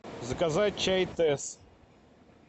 заказать чай тесс